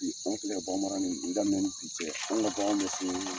Bi an filɛ baganmara ni daminɛnni ni bi cɛ an ka bagan bɛ se.